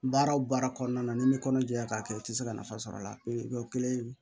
Baara o baara kɔnɔna na ni kɔnɔdiɲɛ ka kɛ i tɛ se ka nafa sɔrɔ a la o kelen